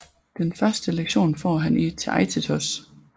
Den første lektion får han i Theaitetos